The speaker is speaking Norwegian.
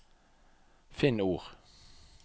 Finn ord